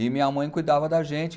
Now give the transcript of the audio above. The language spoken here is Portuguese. E minha mãe cuidava da gente.